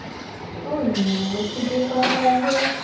что именно тебе понравилось